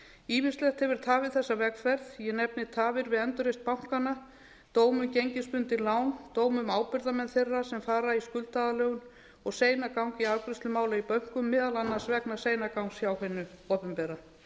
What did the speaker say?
ýmislegt hefur tafið þessa vegferð ég nefni tafir við endurreisn bankanna dóm um gengisbundin lán dóm um ábyrgðarmenn þeirra sem fara í skuldaaðlögun og seinagang í afgreiðslu mála í bönkum meðal annars vegna seinagangs hjá hinu opinbera